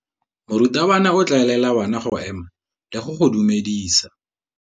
Morutabana o tla laela bana go ema le go go dumedisa.